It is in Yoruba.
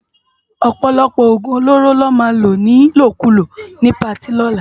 Òpòlòpò ógún ólóró lò má ló nilókúló ni páti òlá